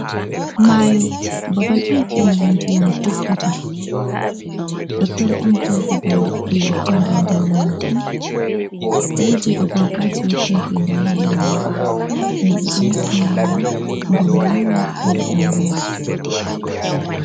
Mayo babal on ɗum ndiyam doggata, toton on bo babal liɗɗi watta ngedam majum, wodi agwagwaji watta ngedam ha mayo, himɓe ɗo yaha mayo ngam yiiwa mo ɗa dauraya.